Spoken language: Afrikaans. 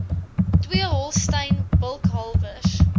twee holstein bulkalwers